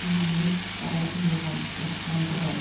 киіммен баратынболған осыдан бір ай